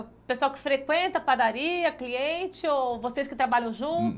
O pessoal que frequenta a padaria, cliente ou vocês que trabalham junto